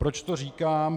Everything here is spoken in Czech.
Proč to říkám?